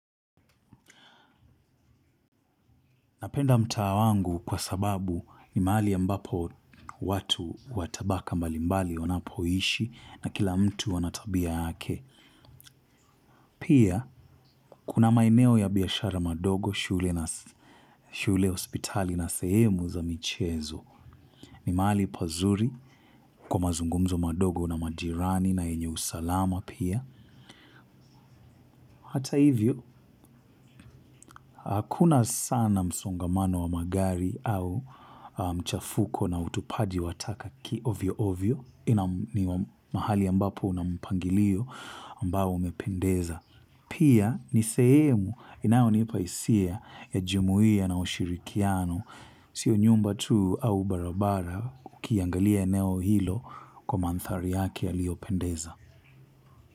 Napenda mtaa wangu kwa sababu ni mahali ambapo watu watabaka mbalimbali wanapo ishi na kila mtu anatabia yake. Pia, kuna maeneo ya biashara madogo shule na, shule hospitali na sehemu za michezo. Ni mahali pazuri kwa mazungumzo madogo na majirani na yenye usalama pia. Hata hivyo, hakuna sana msongamano wa magari au mchafuko na utupaji wataka ki ovyo ovyo. Ina, ni mahali ambapo una mpangilio ambao umependeza. Pia ni sehemu inayo nipa hisia ya jumuiya na ushirikiano sio nyumba tu au barabara ukiangalia eneo hilo kwa manthari yake yaliyo pendeza.